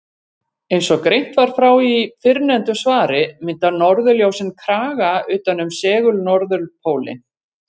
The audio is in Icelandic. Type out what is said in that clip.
Eins og greint var frá í fyrrnefndu svari mynda norðurljósin kraga utan um segul-norðurpólinn.